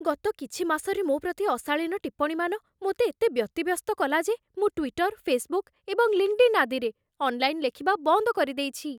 ଗତ କିଛି ମାସରେ ମୋ ପ୍ରତି ଅଶାଳୀନ ଟିପ୍ପଣୀମାନ ମୋତେ ଏତେ ବ୍ୟତିବ୍ୟସ୍ତ କଲା ଯେ ମୁଁ ଟ୍ୱିଟର୍, ଫେସ୍‌ବୁକ୍ ଏବଂ ଲିଙ୍କ୍‌ଡ୍ଇନ୍ ଆଦିରେ ଅନ୍‌ଲାଇନ୍ ଲେଖିବା ବନ୍ଦ କରିଦେଇଛି।